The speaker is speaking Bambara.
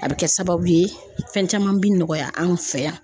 A bɛ kɛ sababu ye fɛn caman bi nɔgɔya an fɛ yan.